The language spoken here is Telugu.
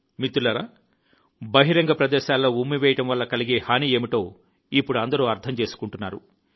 మిత్రులారా బహిరంగ ప్రదేశాల్లో ఉమ్మివేయడం వల్ల కలిగే హాని ఏమిటో ఇప్పుడు అందరూ అర్థం చేసుకుంటున్నారు